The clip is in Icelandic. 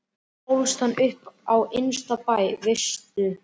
Þar ólst hann upp á innsta bæ, Veisu.